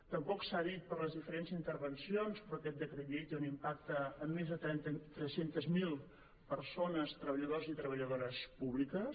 tampoc s’ha dit en les diferents intervencions però aquest decret llei té un impacte en més de tres cents miler persones treballadors i treballadores públiques